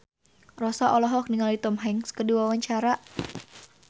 Rossa olohok ningali Tom Hanks keur diwawancara